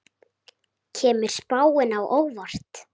Kemur spáin á óvart?